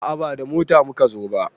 A'a ba da mota muka zo ba